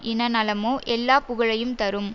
இன நலமோ எல்லா புகழையும் தரும்